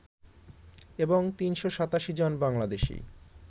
এবং ৩৮৭ জন বাংলাদেশি